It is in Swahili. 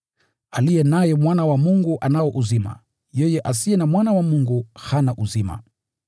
Aliye naye Mwana wa Mungu anao uzima, yeye asiye na Mwana wa Mungu hana uzima.